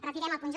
retirem el punt j